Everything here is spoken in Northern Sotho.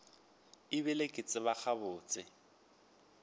e bile ke tseba gabotse